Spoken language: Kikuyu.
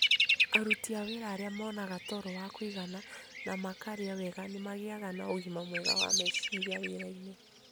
Aruti a wĩra arĩa monaga toro wa kũigana na makarĩa wega nĩ magĩaga na ũgima mwega wa meciria wĩrainĩ.